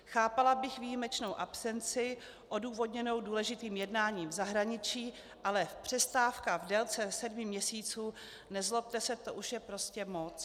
Chápala bych výjimečnou absenci odůvodněnou důležitým jednáním v zahraničí, ale přestávka v délce sedmi měsíců, nezlobte se, to už je prostě moc!